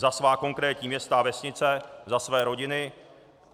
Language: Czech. Za svá konkrétní města a vesnice, za své rodiny.